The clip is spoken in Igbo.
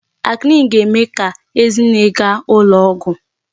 Acne ga-eme ka Ezinne gaa ụlọ ọgwụ.